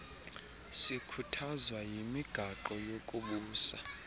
sikhuthazwa yimigaqo yokubusa